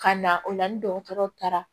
Ka na o la ni dɔgɔtɔrɔw taara